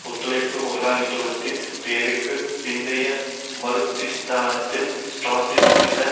ஒத்துழைப்பு முதலாளித்துவத்தின் போருக்கு பிந்தைய மறுஸ்திரத்தன்மையால் ட்ரொட்ஸ்கிச